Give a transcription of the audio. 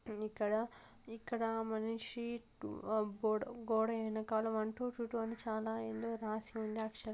ఇక్కడ ఇక్కడ మనిషి టు గో-గోడ వెనకాల వన్ టు త్రి టు అని ఏదో రాసి ఉంది.